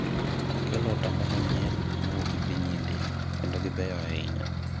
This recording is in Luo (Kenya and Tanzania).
akelo otamba manyien mowuok e piny India, kendo gibeyo ahinya